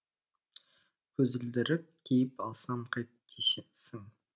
көзілдірік киіп алсам қайтесің